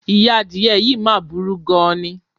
Ìyá adìye̩ yìí máa burú gan-an ni.